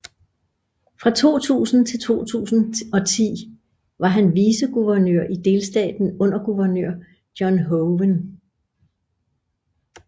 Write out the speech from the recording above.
Fra 2000 til 2010 var han viceguvernør i delstaten under guvernør John Hoeven